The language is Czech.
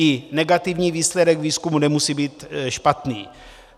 I negativní výsledek výzkumu nemusí být špatný.